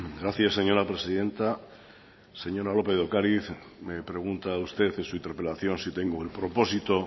gracias señora presidenta señora lópez de ocariz me pregunta usted en su interpelación si tengo el propósito